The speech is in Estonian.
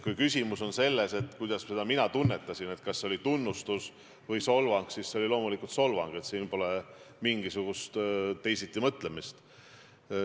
Kui küsimus on selles, kuidas mina seda tunnetasin, kas see oli tunnustus või solvang, siis see oli loomulikult solvang, siin pole mingisugust teisitimõtlemist.